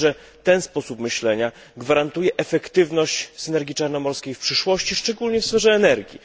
Myślę, że ten sposób myślenia gwarantuje efektywność synergii czarnomorskiej w przyszłości, szczególnie w sferze energii.